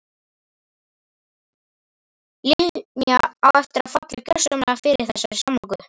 Linja á eftir að falla gjörsamlega fyrir þessari samloku.